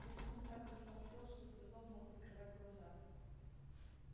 визгун так растолстел что с трудом мог открывать глаза